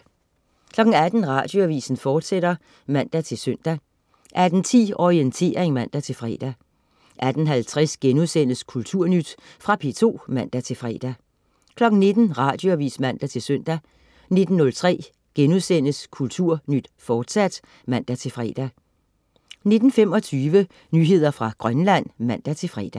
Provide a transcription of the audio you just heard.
18.00 Radioavis. fortsat (man-søn) 18.10 Orientering (man-fre) 18.50 Kulturnyt.* Fra P2 (man-fre) 19.00 Radioavis (man-søn) 19.03 Kulturnyt, fortsat* (man-fre) 19.25 Nyheder fra Grønland (man-fre)